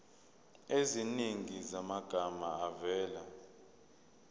eziningi zamagama avela